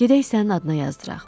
Gedək sənin adına yazdıraq.